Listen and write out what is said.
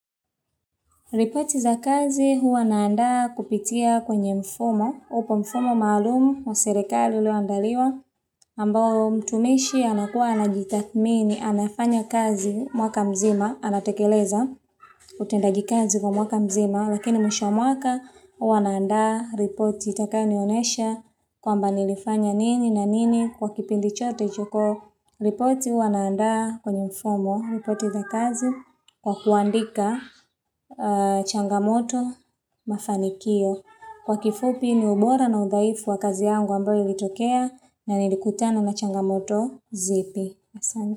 Ripoti za kazi huwa naandaa kupitia kwenye mfumo, upo mfumo maalumu wa serikali ulioandaliwa, ambao mtumishi anakuwa anajitakmini, anafanya kazi mwaka mzima, anatekeleza utendajikazi kwa mwaka mzima, lakini mwisho mwaka huwa naandaa ripoti itakayoni onesha kwamba nilifanya nini na nini kwa kipindi chote choko. Ripoti huwa naandaa kwenye mfumo, ripoti za kazi kwa kuandika changamoto mafanikio. Kwa kifupi ni ubora na udhaifu wa kazi yangu ambayo ilitokea na nilikutana na changamoto zipi.